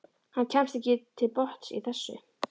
Hann kemst ekki til botns í þessu.